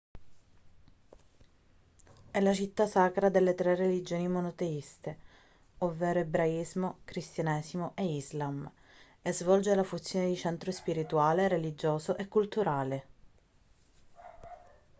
è la città sacra delle 3 religioni monoteiste ovvero ebraismo cristianesimo e islam e svolge la funzione di centro spirituale religioso e culturale